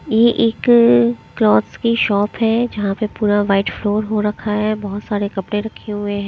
यह एक क्लॉथ्स की शॉप है जहां पे पूरा वाइट फ्लोर हो रखा है बहुत सारे कपड़े रखे हुए हैं।